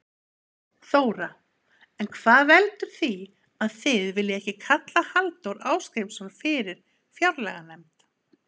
Þóra: En hvað veldur því að þið viljið ekki kalla Halldór Ásgrímsson fyrir fjárlaganefnd?